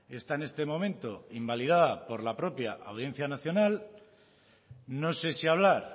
está en este momento invalidada por la propia audiencia nacional no sé si hablar